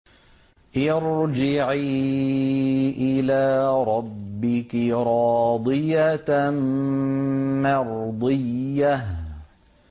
ارْجِعِي إِلَىٰ رَبِّكِ رَاضِيَةً مَّرْضِيَّةً